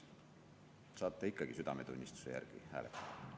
Saate ikkagi südametunnistuse järgi hääletada.